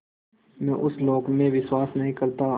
मैं उस लोक में विश्वास नहीं करता